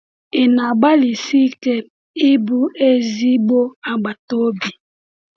Ị na-agbalịsi ike ịbụ ezigbo agbata obi?’